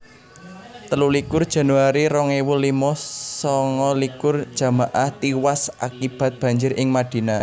telulikur januari rong ewu limo sanga likur jamaah tiwas akibat banjir ing Madinah